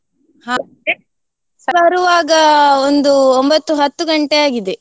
ಬರುವಾಗ ಒಂದು ಒಂಬತ್ತು ಹತ್ತು ಗಂಟೆ ಆಗಿದೆ.